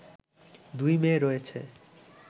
দুই মেয়ে রয়েছে